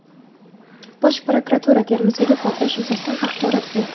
Bosh prokuratura Termizdagi portlash yuzasidan axborot berdi.